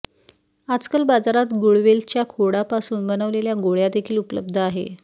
आजकाल बाजारात गुळवेल च्या खोडा पासून बनवलेल्या गोळ्या देखील उपलब्ध आहे